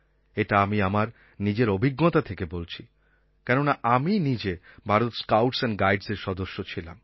এটা আমি আমার নিজের অভিজ্ঞতা থেকে বলছি কেননা আমি নিজে ভারত স্কাউটস্ অ্যান্ড গাইডস্এর সদস্য ছিলাম